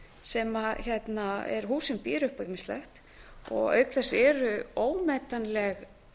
sem er hús sem býður upp á ýmislegt auk þess eru ómetanleg